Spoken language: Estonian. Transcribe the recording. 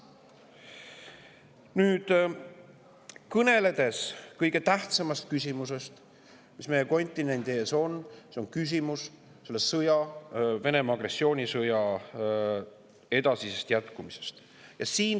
Nüüd kõnelen kõige tähtsamast küsimusest, mis meie kontinendi ees on: see on Venemaa agressioonisõja jätkumise küsimus.